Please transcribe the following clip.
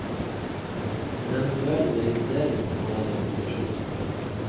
En eventuell registrering kan være konsesjonspliktig.